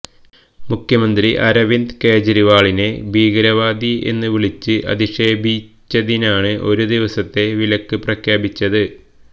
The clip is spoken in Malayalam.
മുഖ്യമന്ത്രി അരവിന്ദ് കെജ്രിവാളിനെ ഭീകരവാദി എന്ന് വിളിച്ച് അധിക്ഷേപിച്ചതിനാണ് ഒരു ദിവസത്തെ വിലക്ക് പ്രഖ്യാപിച്ചത്